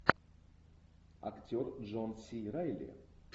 актер джон си райли